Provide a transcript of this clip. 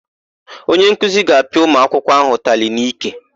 Onyenkuzi ga-apịa ụmụakwụkwọ áhụ̀ ụtalị n'ike.